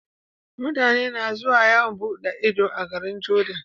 Mutane na zuwa yawan buɗe Ido a garin jordan